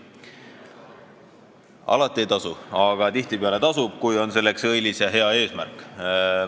Alati ei tasu, aga tihtipeale tasub, kui eesmärk on õilis ja hea.